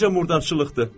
Necə murdarlıqdır?